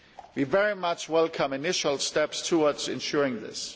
We very much welcome initial steps towards ensuring this.